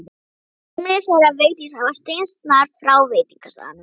Heimili þeirra Vigdísar var steinsnar frá veitingastaðnum.